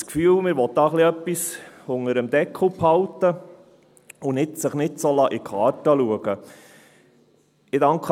Ich habe eher das Gefühl, man wolle hier etwas unter dem Deckel behalten und sich nicht in die Karten blicken lassen.